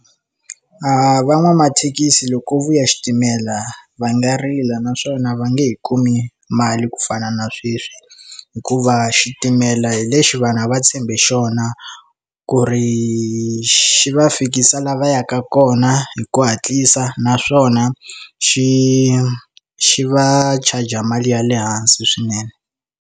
A van'wamathekisi loko vuya xitimela va nga rila naswona va nge he kumi mali ku fana na sweswi hikuva xitimela hi lexi vanhu a va tshembi xona a ku ri xi va fikisa la va yaka kona hi ku hatlisa naswona xi xi va charge mali ya le hansi swinene.